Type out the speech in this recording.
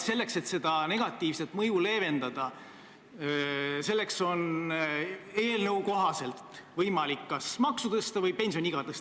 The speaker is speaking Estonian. Selleks, et negatiivset mõju leevendada, on eelnõu kohaselt võimalik kas maksu tõsta või pensioniiga tõsta.